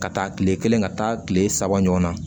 Ka taa kile kelen ka taa kile saba ɲɔgɔn na